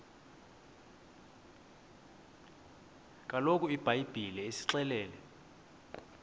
kaloku ibhayibhile isixelela